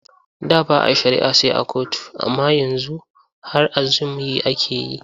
Da ba a shari'a sai a kotu amma yanzu har a zum yi ake yi.